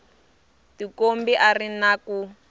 tikombi a ri na ku